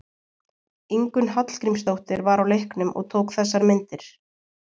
Ingunn Hallgrímsdóttir var á leiknum og tók þessar myndir.